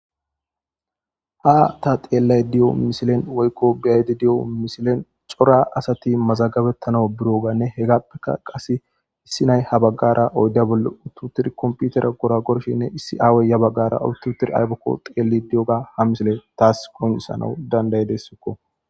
ha ta xeellay diyo misilen woykko biyaydi di'o misilen cora asati mazagabettana biroganne hegappeka qase issi nay ha baggara oydda bolle uttutir komputera gora gorshinne issi aawoyya baggara ututir aybokko xeelli di'oga ha misile taas qoncisanau dandayidessokko